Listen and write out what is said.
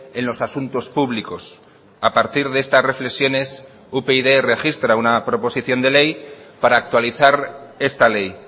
en los asuntos públicos a partir de estas reflexiones upyd registra una proposición de ley para actualizar esta ley